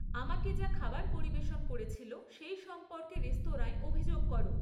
আমাকে যা খাবার পরিবেশন করেছিল, সেই সম্পর্কে রেস্তরাঁয় অভিযোগ করো